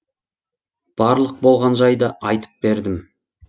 барлық болған жайды айтып бердім